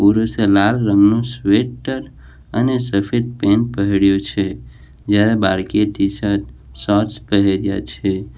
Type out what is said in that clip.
પુરુષે લાલ રંગનું સ્વેટર અને સફેદ પેન્ટ પહેર્યું છે જ્યારે બાળકી એ ટી-શર્ટ શોર્ટ પહેર્યા છે.